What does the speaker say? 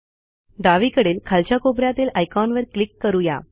डावीकडील खालच्या कोपऱ्यातील आयकॉनवर क्लिक करू या